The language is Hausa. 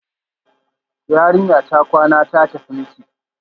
Yarinya ta kwana, ta tafi miki